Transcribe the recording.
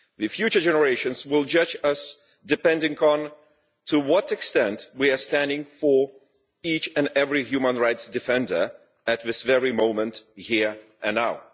Future generations will judge us according to the extent to which we are standing for each and every human rights defender at this very moment, here and now.